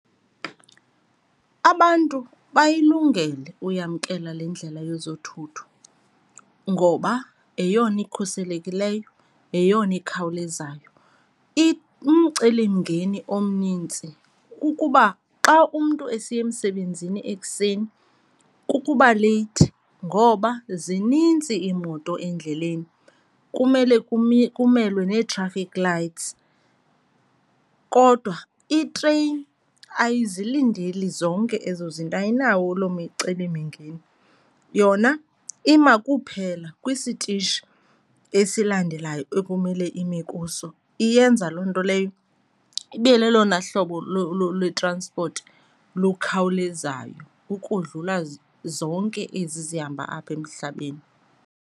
Abantu bayilungele uyamkela le ndlela yezothutho ngoba yeyona ikhuselekileyo, yeyona ikhawulezayo. Umcelimngeni omnintsi kukuba xa umntu esiya emsebenzini ekuseni, kukuba leyithi ngoba zinintsi iimoto endleleni kumele kumelwe nee-traffic lights. Kodwa itreyini ayizilandeli zonke ezo zinto, ayinawo loo micelimngeni. Yona iyema kuphela kwisitishi esilandelayo ekumele ime kuso, iyenza loo nto leyo ibe lelona hlobo lwe-transport lukhawulezayo ukodlula zonke ezi zihamba apha emhlabeni.